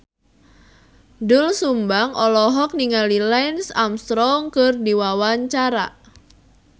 Doel Sumbang olohok ningali Lance Armstrong keur diwawancara